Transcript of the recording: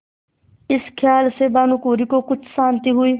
इस खयाल से भानुकुँवरि को कुछ शान्ति हुई